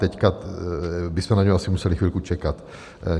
Teď bychom na něj asi museli chvilku čekat.